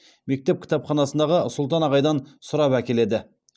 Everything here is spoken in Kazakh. мектеп кітапханасындағы сұлтан ағайдан сұрап әкеледі